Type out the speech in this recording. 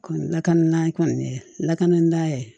Kɔni lakana kɔni lakana ye